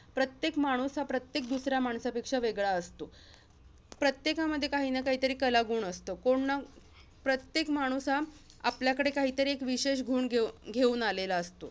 प्रत्येक माणूस, हा प्रत्येक दुसऱ्या माणसापेक्षा वेगळा असतो. प्रत्येकामध्ये, काहीन काहीतरी कलागुण असतं. कोण न प्रत्येक माणूस हा आपल्याकडे काहीतरी एक विशेष गुण घेऊ~ घेऊन आलेला असतो.